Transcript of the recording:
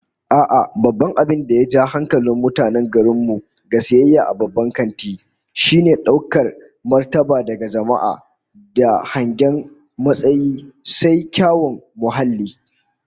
A'a, babban abin da ya ja hankalin mutanen garin mu ga sayayya a babban kanti, shine daukar martabar daga jama'a da hangen matsayi, sai kuma kyawun muhalli